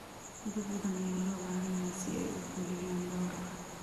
Dad badan ayaa loo baahan yahay si ay u fuliyaan gowraca.